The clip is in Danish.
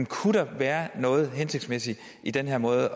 kunne der være noget hensigtsmæssigt i den her måde at